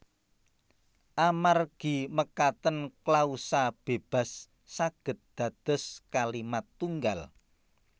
Amargi mekaten klausa bébas saged dados kalimat tunggal